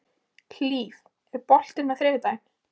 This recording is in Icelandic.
Hlíf, er bolti á þriðjudaginn?